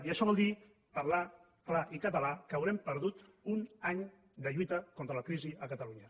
i això vol dir parlant clar i català que haurem perdut un any de lluita contra la crisi a catalunya